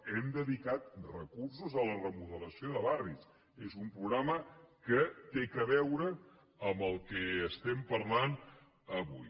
hem dedicat recursos a la remodelació de barris és un programa que té a veure amb el que estem parlant avui